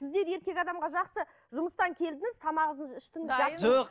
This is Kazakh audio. сіздер еркек адамға жақсы жұмыстан келдіңіз тамағыңызды іштіңіз жоқ